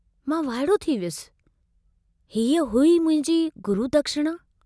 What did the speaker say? मां वाइड़ो थी वियुसि, हीउ हुई मुंहिंजी गुरू दक्षिणा!